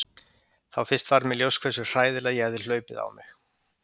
Þá fyrst varð mér ljóst hversu hræðilega ég hafði hlaupið á mig.